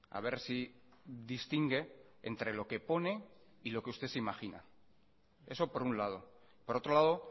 a ver si distingue entre lo que pone y lo que usted se imagina eso por un lado por otro lado